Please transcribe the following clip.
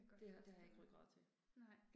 Det har det har jeg ikke rygrad til